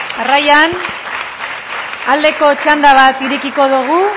jauna jarraian aldeko txanda bat irekiko dugu